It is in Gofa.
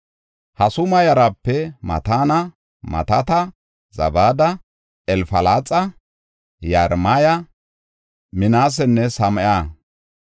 Hasuma yarape Mataana, Mataata, Zabada, Elfalaxa, Yeremaya, Minaasenne Same7a.